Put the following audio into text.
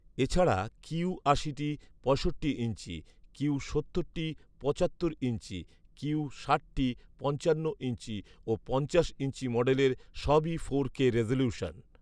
এ ছাড়া কিউ আশিটি পঁয়ষট্টি ইঞ্চি, কিউ সত্তরটি পঁচাত্তর ইঞ্চি, এবং কিউ ষাটটি পঞ্চান্ন ইঞ্চি ও পঞ্চাশ ইঞ্চি মডেলের সবই ফোর কে রেজোলিউশন